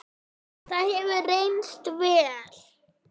Það hefur reynst vel.